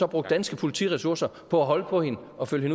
brugt danske politiressourcer på at holde på hende og følge